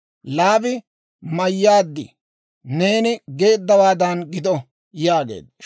Laabi, «Mayyaad; neeni geeddawaadan gido» yaageedda.